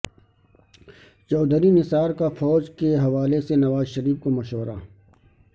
چوہدری نثار کا فوج کے حوالے سے نواز شریف کو مشورہ